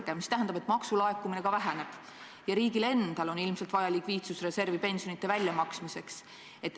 See omakorda tähendab, et maksulaekumine väheneb ja riigil on ilmselt vaja likviidsusreservi pensionide väljamaksmiseks.